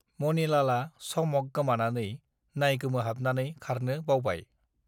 मनिलालआ समक गोमानानै नाइगोमोहाबनानै खारनो बावबाय